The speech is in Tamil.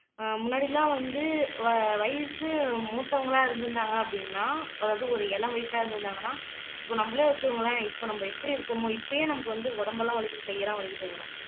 ஆஹ் முன்னாடி எல்லாம் வந்து வ வயசு மூத்தவங்களா இருந்திருந்தாங்க அப்படின்னா அதாவது ஒரு இளம் வயசா இருந்திருந்தாங்கன்னா இப்ப நம்மளே வச்சுக்கோங்களேன் இப்ப நம்ம எப்படி இருக்கோமோ இப்பயே நமக்கு வந்து உடம்பெல்லாம் வலிக்குது கையெல்லாம் வலிக்குதுங்கரோ